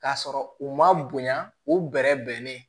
K'a sɔrɔ u ma bonya u bɛ bɛrɛ bɛnnen